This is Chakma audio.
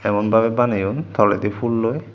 emon bhabe baneyun toledi phoolloi.